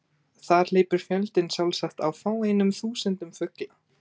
Þar hleypur fjöldinn sjálfsagt á fáeinum þúsundum fugla.